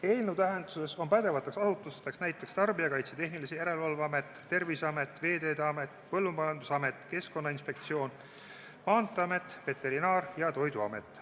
Eelnõu tähenduses on pädevateks asutusteks näiteks Tarbijakaitse ja Tehnilise Järelevalve Amet, Terviseamet, Veeteede Amet, Põllumajandusamet, Keskkonnainspektsioon, Maanteeamet, Veterinaar- ja Toiduamet.